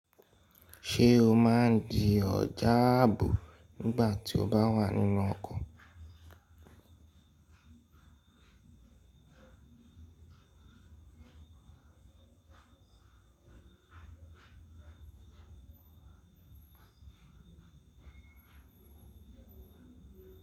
Ṣé o máa ń di ọjà ààbò nígbà tí o bá wà nínú ọkọ̀?